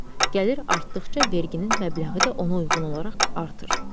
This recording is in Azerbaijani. Gəlir artdıqca verginin məbləği də ona uyğun olaraq artır.